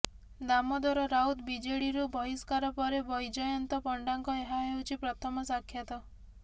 ଦାମୋଦର ରାଉତ ବିଜେଡିରୁ ବହିଷ୍କାର ପରେ ବୈଜୟନ୍ତ ପଣ୍ଡାଙ୍କ ଏହା ହେଉଛି ପ୍ରଥମ ସାକ୍ଷାତ